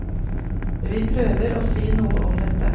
Vi prøver å si noe om dette.